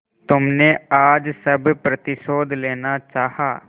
तुमने आज सब प्रतिशोध लेना चाहा